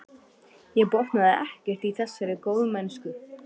Ég botnaði ekkert í þessari góðmennsku.